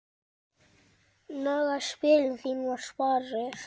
Nagaðu spilin þín var svarið.